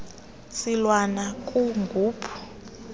silwana gumpu u